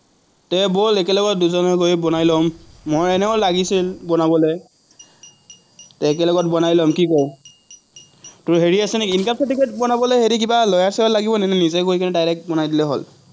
ব'ল একেলগত দুজনৰ হৈ বনাই ল'ম, মই এনেও লাগিছিল বনাবলে। একেলগত বনাই ল'ম, কি ক? তোৰ হেৰি আছে নেকি, income certificate বনাবলে হেৰি কিবা lawyer চয়াৰ লাগিব নেকি, নিজে গৈ direct বনাই দিলে হল?